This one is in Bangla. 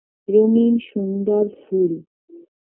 রঙিন সুন্দর ফুল